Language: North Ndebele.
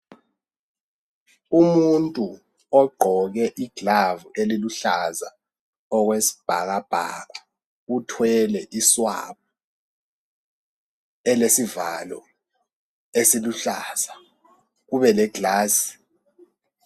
Umuntu ogqoke iglove eliluhlaza okwesibhakabhaka uthwele I swab elesivalo esiluhlaza kube le glass.